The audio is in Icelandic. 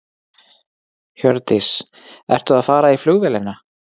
Hjördís: Ertu að fara í flugvélina?